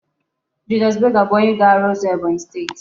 Julius Berger bu onye ga-aru uzo Ebonyi steeti